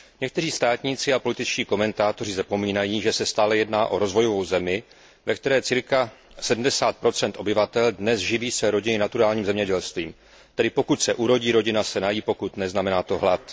Někteří státníci a političtí komentátoři zapomínají, že se stále jedná o rozvojovou zemi, ve které cca 70 obyvatel dnes živí své rodiny naturálním zemědělstvím, tedy pokud se urodí, rodina se nají, pokud ne, znamená to hlad.